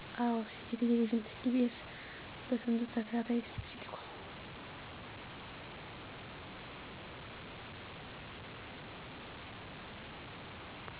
አወ የቴሌቪዥን ኢቢኤስ በስንቱ ተከታታይ ሲትኮም